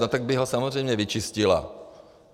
No, tak by ho samozřejmě vyčistila.